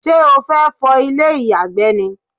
ṣé o fẹ́ fọ ilé ìyàgbẹ́ ni?